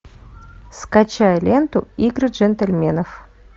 скачай ленту игры джентльменов